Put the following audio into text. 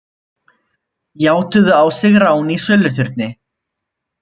Játuðu á sig rán í söluturni